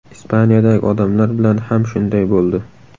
Ispaniyadagi odamlar bilan ham shunday bo‘ldi.